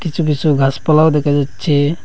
কিছু কিছু গাসপালাও দেখা যাচ্ছে।